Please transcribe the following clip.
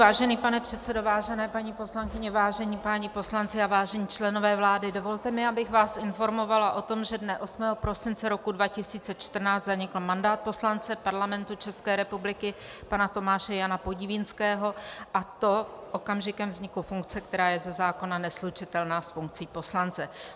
Vážený pane předsedo, vážené paní poslankyně, vážení páni poslanci a vážení členové vlády, dovolte mi, abych vás informovala o tom, že dne 8. prosince roku 2014 zanikl mandát poslance Parlamentu České republiky pana Tomáše Jana Podivínského, a to okamžikem vzniku funkce, která je ze zákona neslučitelná s funkcí poslance.